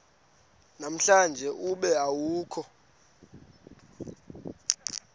namhlanje ube awukho